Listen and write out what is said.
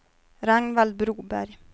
Ragnvald Broberg